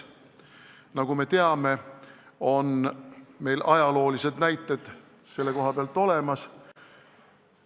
Nagu me teame, ajaloolised näited selle kohta on olemas.